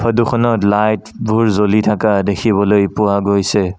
Photo খনত light বোৰ জ্বলি থাকা দেখিবলৈ পোৱা গৈছে।